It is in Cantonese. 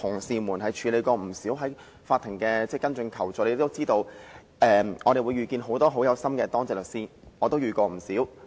曾經處理不少有關求助的同事也應該曾遇見很多很用心的當值律師，我自己也遇過不少。